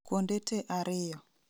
kuonde te ariyo